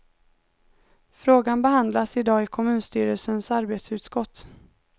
Frågan behandlas i dag i kommunstyrelsens arbetsutskott.